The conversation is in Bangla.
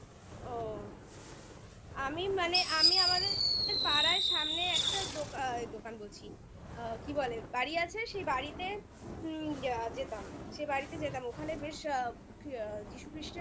ও আমি মানে আমি আমাদের পাড়ার সামনে একটা দোকান বলছি কি বলে? বাড়ি আছে সেই বাড়িতে হুম যেতাম সেই বাড়িতে যেতাম ওখানে বেশ আ যীশু খ্রীষ্টের